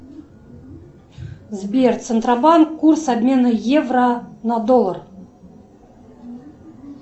сбер центробанк курс обмена евро на доллар